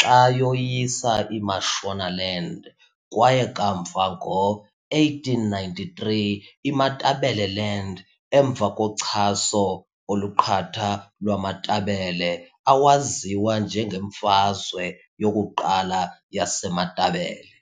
xa yoyisa iMashonaland kwaye kamva ngo-1893 iMatabeleland emva kochaso oluqatha lwamaMatabele awaziwa njengeMfazwe yokuQala yaseMatabele.